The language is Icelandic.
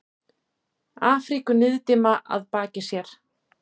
Afríku niðdimma að baki sér.